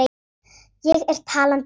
Ég er talandi eyra.